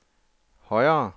højere